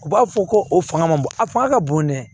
U b'a fɔ ko o fanga man bon a fanga ka bon dɛ